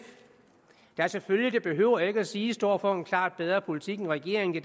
der selvfølgelig det behøver jeg ikke at sige står for en klart bedre politik end regeringen det